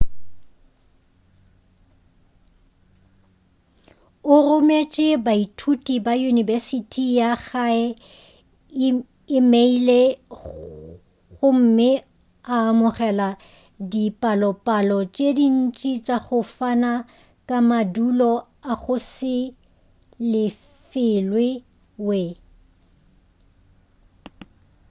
o rometše baithuti ba yunibesithi ya gae emeile gomme a amogela dipalopalo tše dintšhi tša go fana ka madulo a go se lefelwe.we